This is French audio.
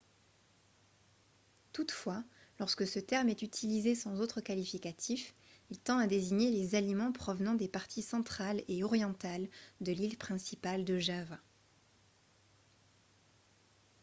toutefois lorsque ce terme est utilisé sans autre qualificatif il tend à désigner les aliments provenant des parties centrale et orientale de l'île principale de java